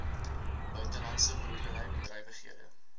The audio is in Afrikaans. buitelandse boerdery bedrywighede